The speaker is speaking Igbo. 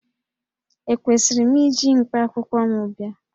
Ekwesịrị m iji mkpakwụkwọ m bịa?